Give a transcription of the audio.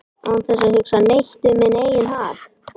án þess að hugsa neitt um minn eigin hag